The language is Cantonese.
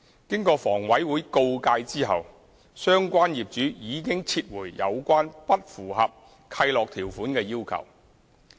經房委會告誡後，相關業主已撤回有關不合乎契諾條款的要求。